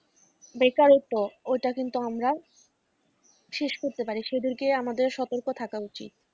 বেকারত্ব ওইটা কিন্তু আমরা শেষ করতে পারি সেদিকে আমাদের সতর্ক থাকা উচিৎ।